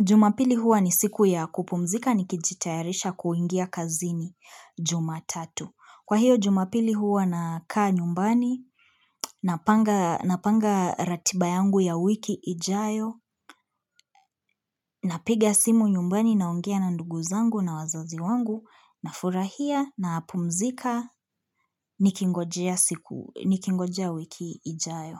Jumapili huwa ni siku ya kupumzika nikijitayarisha kuingia kazini jumatatu Kwa hiyo jumapili huwa nakaa nyumbani napanga ratiba yangu ya wiki ijayo napiga simu nyumbani naongea na ndugu zangu na wazazi wangu nafurahia napumzika nikingojea siku nikingojea wiki ijayo.